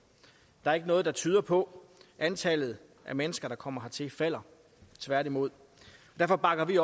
og der er ikke noget der tyder på at antallet af mennesker der kommer hertil falder tværtimod derfor bakker vi